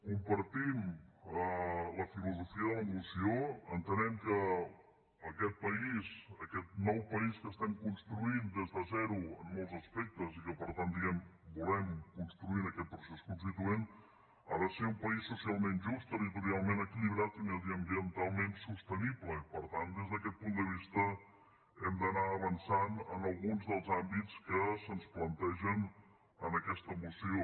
compartim la filosofia de la moció entenem que aquest país aquest nou país que estem construint des de zero en molts aspectes i que per tant volem construir en aquest procés constituent ha de ser un país socialment just territorialment equilibrat i mediambientalment sostenible i per tant des d’aquest punt de vista hem d’anar avançant en alguns dels àmbits que se’ns plantegen en aquesta moció